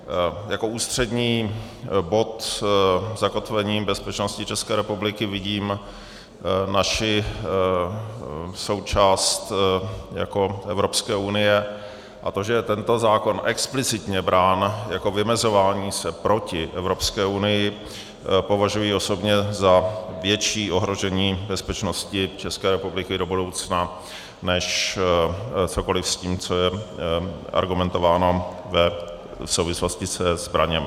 Jako ústřední bod zakotvení bezpečnosti České republiky vidím naši součást jako Evropské unie a to, že je tento zákon explicitně brát jako vymezování se proti Evropské unii, považuji osobně za větší ohrožení bezpečnosti České republiky do budoucna než cokoliv s tím, co je argumentováno v souvislosti se zbraněmi.